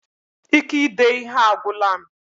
Ike ide ihe a agwụla m